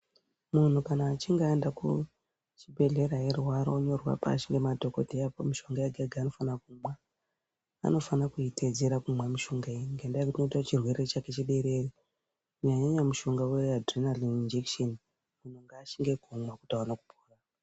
Munhu kana achinge aenda kuchibhehlera eirwara onyorerwa pashi ngemadhokodheya opuwa mishonga yega-yega yanofana kumwa. Anofana kuitedzera kumwa mishonga iyi ngendaa yekuti inoita kuti chirwere chake chiderere Kunyanyanyanya mushonga uya uya dhurenarini inijekisheni munhu ngashinge kumwa kuti aone kupora.